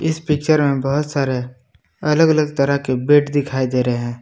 इस पिक्चर में बहुत सारे अलग अलग तरह के बेड दिखाई दे रहे हैं।